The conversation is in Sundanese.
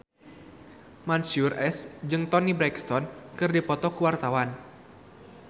Mansyur S jeung Toni Brexton keur dipoto ku wartawan